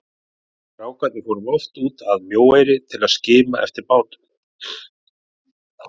Við strákarnir fórum oft út að Mjóeyri til að skima eftir bátunum.